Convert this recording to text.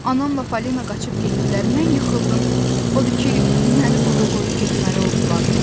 Anamla Falina qaçıb getdilər, mən yıxıldım, odur ki, məni burda qoyub getməli oldular.